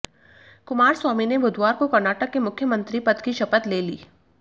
कुमारस्वामी ने बुधवार को कर्नाटक के मुख्यमंत्री पद की शपथ ले ली